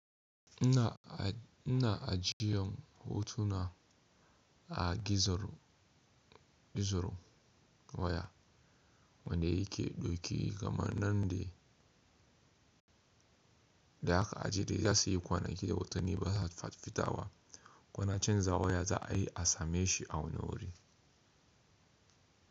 Ina ajiyan hotuna a gizogizo waya wanda yake dauke kamar nan da aka ajiye, za su yi kwanaki da watanni ba za su fita ba. Kwanakin zawoya za a yi a same shi a wani wuri.